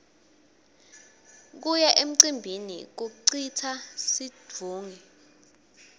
kuya emcimbini kucitsa situnge